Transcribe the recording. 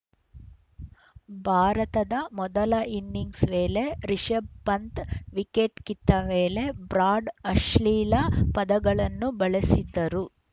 ಭಾರತದ ಮೊದಲ ಇನ್ನಿಂಗ್ಸ್‌ ವೇಳೆ ರಿಶಭ್‌ ಪಂತ್‌ ವಿಕೆಟ್‌ ಕಿತ್ತ ವೇಳೆ ಬ್ರಾಡ್‌ ಅಶ್ಲೀಲ ಪದಗಳನ್ನು ಬಳಸಿದ್ದರು